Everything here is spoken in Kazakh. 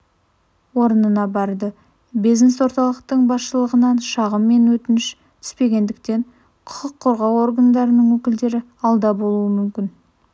орнына барды бизнес-орталықтың басшылығынан шағым мен өтініш түспегендіктен құқық қорғау органдарының өкілдері алда болуы мүмкін